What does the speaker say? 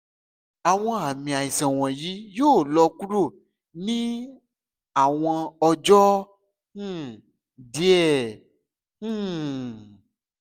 awọn aami aisan wọnyi yoo lọ kuro ni awọn ọjọ um diẹ um